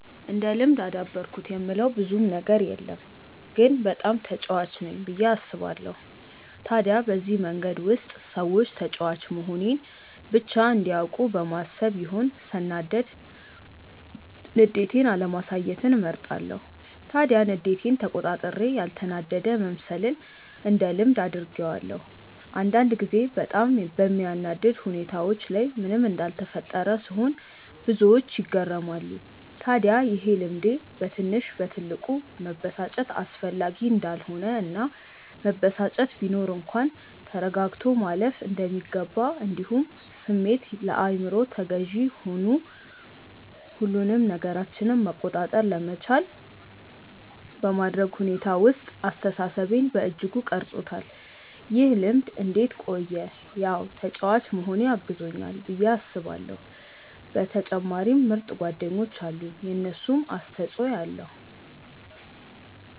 እንደ ልምድ አዳበርኩት የምለው ብዙም ነገር የለም ግን በጣም ተጫዋች ነኝ ብዬ አስባለው። ታዲያ በዚህ መንገድ ውስጥ ሰዎች ተጫዋች መሆኔን ብቻ እንዲያውቁ በማሰብ ይሆን ሰናዳድ ንዴቴን አለማሳየትን እመርጣለው። ታዲያ ንዴቴን ተቆጣጥሬ ያልተናደደ መምሰልን እንደ ልምድ አድርጌዋለው። አንዳንድ ጊዜ በጣም በሚያናድድ ሁኔታዎች ላይ ምንም እንዳልተፈጠረ ስሆን ብዙዎች ይገረማሉ። ታድያ ይሄ ልምዴ በትንሽ በትልቁ መበሳጨት አስፈላጊ እንዳልሆነ እና መበሳጨት ቢኖር እንኳን ተረጋግቶ ማለፍ እንደሚገባ እንዲሁም ስሜት ለአይምሮ ተገዢ ሆኑ ሁሉንም ነገራችንን መቆጣጠር ለመቻል በማድረግ ሁኔታ ውስጥ አስተሳሰቤን በእጅጉ ቀርፆታል። ይህ ልምድ እንዴት ቆየ ያው ተጫዋች መሆኔ አግዞኛል ብዬ አስባለው በተጨማሪም ምርጥ ጓደኞች አሉኝ የነሱም አስተፆይ ኣለዉ።